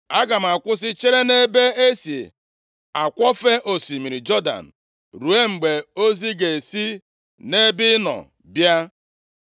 Aga m akwụsị chere nʼebe e si akwọfe osimiri Jọdan, ruo mgbe ozi ga-esi nʼebe ị nọ bịa.”